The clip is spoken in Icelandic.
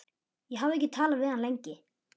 Ég hafði ekki talað við hann lengi.